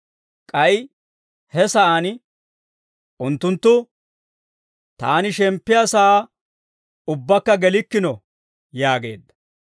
K'ay he sa'aan, «Unttunttu taani shemppiyaa sa'aa ubbakka gelikkino» yaageedda.